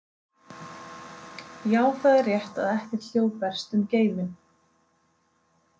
Já, það er rétt að ekkert hljóð berst um geiminn.